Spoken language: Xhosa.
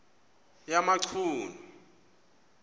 yamachunu